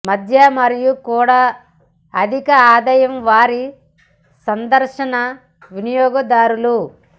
మధ్య మరియు కూడా అధిక ఆదాయం వారి సందర్శన వినియోగదారులు